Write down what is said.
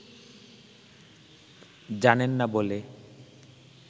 জানেন না বলে